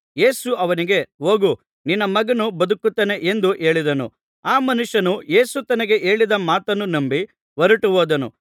ಯೇಸು ಅವನಿಗೆ ಹೋಗು ನಿನ್ನ ಮಗನು ಬದುಕುತ್ತಾನೆ ಎಂದು ಹೇಳಿದನು ಆ ಮನುಷ್ಯನು ಯೇಸು ತನಗೆ ಹೇಳಿದ ಮಾತನ್ನು ನಂಬಿ ಹೊರಟು ಹೋದನು